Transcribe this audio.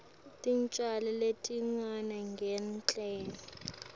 tincwadzi letifundzisa ngemtsetfo